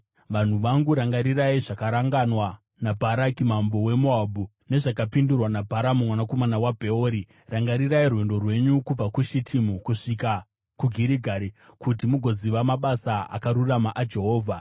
Vanhu vangu, rangarirai zvakaranganwa naBharaki mambo weMoabhu nezvakapindurwa naBharamu mwanakomana waBheori. Rangarirai rwendo rwenyu kubva kuShitimu kusvika kuGirigari, kuti mugoziva mabasa akarurama aJehovha.”